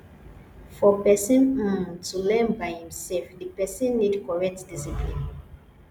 for person um to learn by im self di person need correct discipline